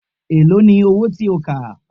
Èló ni owó tí ó kà?